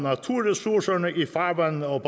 af naturressourcerne i farvandene og